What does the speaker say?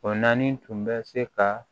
O naani tun bɛ se ka